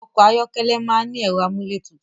Ọkọ̀ ayọ́kẹ́lẹ̀ máa ń ní ẹ̀rọ amúlétutù